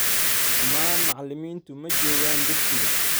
Dhammaan macallimiintu maa jogaan dugsiga